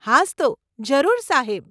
હાસ્તો, જરૂર, સાહેબ.